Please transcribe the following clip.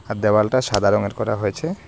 আর দ্যাওয়ালটা সাদা রঙের করা হয়েছে।